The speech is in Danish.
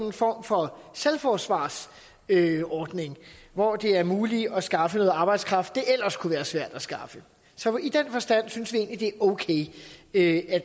en form for selvforsvarsordning hvor det er muligt at skaffe noget arbejdskraft det ellers kunne være svært at skaffe så i den forstand synes vi egentlig det er okay at